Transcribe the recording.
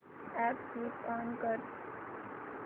app switch on कर